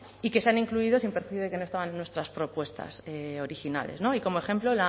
y que se han incluido sin perjuicio de que no estaban en nuestras propuestas originales y como ejemplo